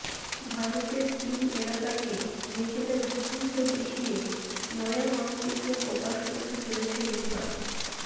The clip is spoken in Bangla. ভারতের তিন এলাকাকে নিজেদের ভূখণ্ড দেখিয়ে নয়া মানচিত্র প্রকাশ করতে চলেছে নেপাল